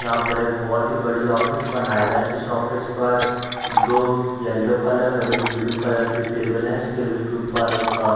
यहाँ पर एक बहुत ही बढ़िया ऑफिस बनाया गया | इस ऑफिस पर दो येलो कलर और एक ब्लू कलर की टेबल है | इस टेबल के ऊपर एक --